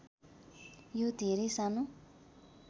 यो धेरै सानो